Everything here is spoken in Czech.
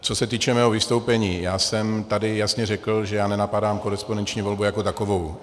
Co se týče mého vystoupení, já jsem tady jasně řekl, že já nenapadám korespondenční volbu jako takovou.